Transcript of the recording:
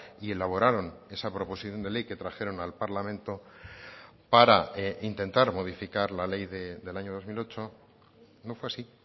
y elaboraron esa proposición de ley que trajeron al parlamento para intentar modificar la ley del año dos mil ocho no fue así